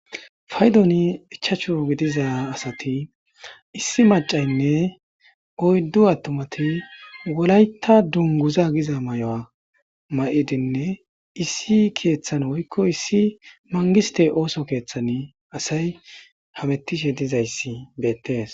Faydoni ichacho gidiza asati issi macaynne oyddu attomati wolayta dunguza giza may7oa ma7idinne issi keeththan woykko issi mangiste ooso keeththani asay hamettishe dizayssi beettees